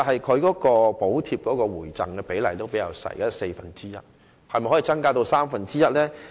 此外，補貼計劃的回贈比例只有四分之一，可否增至三分之一呢？